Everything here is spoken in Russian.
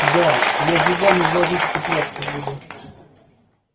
да я зубами за жизнь цепляться буду